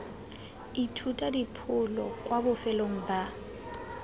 ithuta dipholo kwa bofelong ba